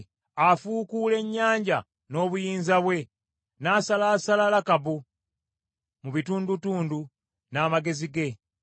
Afuukuula ennyanja n’obuyinza bwe, n’asalaasala Lakabu mu bitundutundu n’amagezi ge.